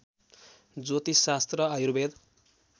ज्योतिषशास्त्र Ayurveda